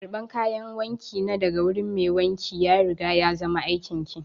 Karban kayan wanki na daga wurin mai wanki ya riga ya zama aikin ki!